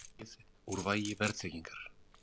Dregið úr vægi verðtryggingar